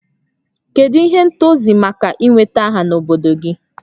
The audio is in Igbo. Kedu ihe ntozu maka ị nweta aha n'obodo gị?